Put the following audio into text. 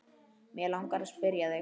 Mig langar að spyrja þig.